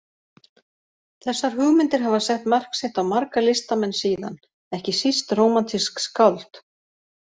Þessar hugmyndir hafa sett mark sitt á marga listamenn síðan, ekki síst rómantísk skáld.